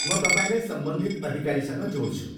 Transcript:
म तपाईँलाई सम्बन्धित अधिकारीसँग जोड्छु।